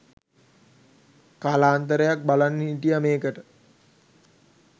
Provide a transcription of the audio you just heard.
කාලාන්තරයක් බලන් හිටියා මේකට